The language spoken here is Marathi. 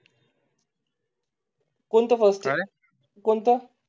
कोणते फर्स्ट कोणतं